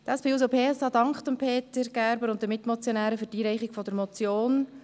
Die SP-JUSO-PSA-Fraktion dankt Peter Gerber und den Mitmotionären für die Einreichung der Motion.